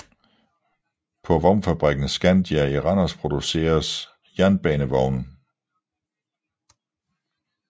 På vognfabrikken Scandia i Randers producers jernbanevogne